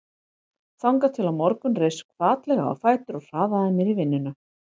Þangað til á morgun reis hvatlega á fætur og hraðaði mér í vinnuna.